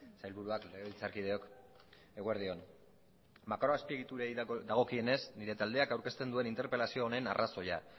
sailburuak legebiltzarkideok eguerdi on makroazpiegiturei dagokionez nire taldeak aurkezten duen interpelazio honen arrazoia